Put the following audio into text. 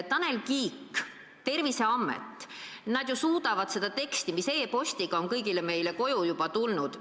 Tanel Kiik ja Terviseamet – nad ju on koostanud teksti, mis e-postiga on kõigile meile saadetud.